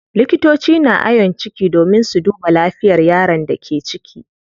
Likitoci na ayon ciki domin su duba lafiyar yaron da ke ciki.